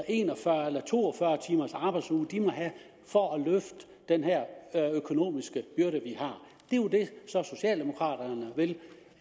en og fyrre eller to og fyrre timers arbejdsuge de må have for at løfte den her økonomiske byrde vi har det som socialdemokraterne vil